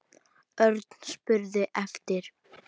Örn spurði eftir